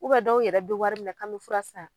dɔw yɛrɛ bɛ wari minɛ kan bɛ fura san.